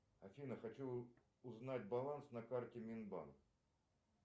афина хочу узнать баланс на карте минбанк